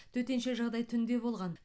төтенше жағдай түнде болған